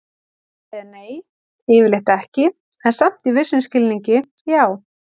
Svarið er nei, yfirleitt ekki, en samt í vissum skilningi já!